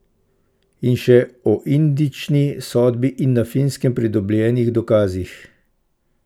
In še o indični sodbi in na Finskem pridobljenih dokazih.